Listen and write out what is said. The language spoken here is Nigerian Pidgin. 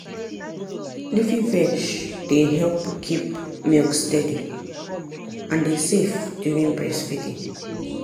leafy veg dey help keep milk steady and e safe during breastfeeding.